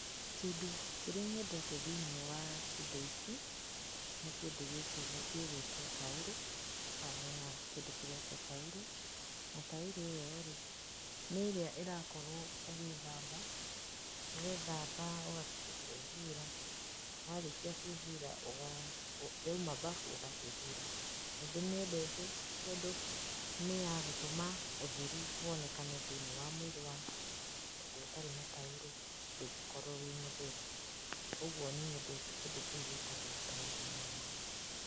Kĩndũ kĩrĩa nyendete thĩinĩ wa indo ici, nĩ kĩndũ gĩkĩ gĩgũĩtũo taurũ, haha hena kĩndũ kĩretũo taurũ, na taurũ ĩyo rĩ, nĩrĩa ĩrakorũo ũgĩthamba, wethamba ũgacoka ũkehura, warĩkia kwĩhura ũga, wauma mbabu, ũgakĩhura. Nĩndĩmĩendete tondũ nĩyagũtũma ũtheru wonekane thĩinĩ wa mwĩrĩ waku, tondũ ũtarĩ na taurũ ndũngĩkorũo wĩ mũtheru. Ũguo nĩnyendete kĩndũ kĩu gĩtagũo taurũ mũno.